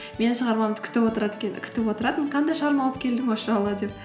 менің шығармамды күтіп отыратын қандай шығарма алып келдің осы жолы деп